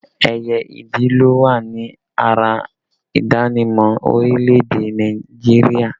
Ẹyẹ ìdì ló wà ní ara ìdánimọ̀ orílẹ̀ èdè Nàìjíríà